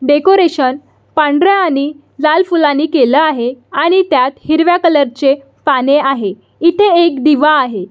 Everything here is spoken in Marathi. डेकोरेशन पांढऱ्या आणि लाल फुलाणी केल आहे आणि त्यात हिरव्या कलर चे पाने आहे इथे एक दिवा आहे.